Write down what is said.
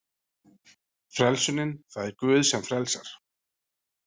Frelsunin: Það er Guð sem frelsar.